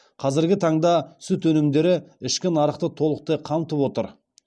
қазіргі таңда сүт өнімдері ішкі нарықты толықтай қамтып отыр